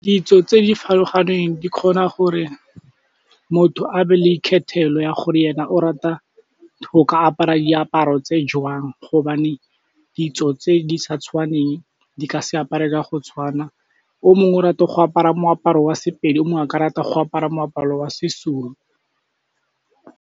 Ditso tse di farologaneng di kgona gore motho a be le ikgethelo ya gore ena o rata go ka apara diaparo tse jwang hobane ditso tse di sa tshwaneng di ka se apare ka go tshwana, o mongwe o rata go apara moaparo wa Sepedi omong a ka rata go apara moaparo wa seZulu.